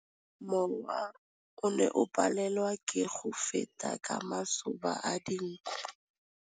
Mowa o ne o palelwa ke go feta ka masoba a dinko.